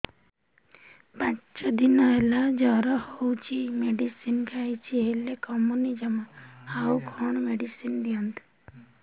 ପାଞ୍ଚ ଦିନ ହେଲା ଜର ହଉଛି ମେଡିସିନ ଖାଇଛି ହେଲେ କମୁନି ଜମା ଆଉ କଣ ମେଡ଼ିସିନ ଦିଅନ୍ତୁ